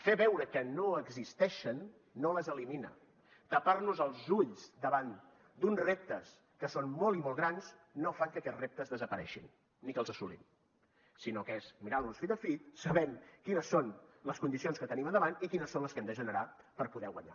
fer veure que no existeixen no les elimina tapar nos els ulls davant d’uns reptes que són molt i molt grans no fa que aquests reptes desapareguin ni que els assolim sinó que és mirant los fit a fit sabent quines són les condicions que tenim al davant i quines són les que hem de generar per poder guanyar